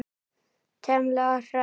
Thelma og Hrönn.